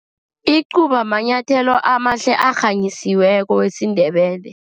Icuba manyathelo amahle, arhanyisiweko isiNdebele.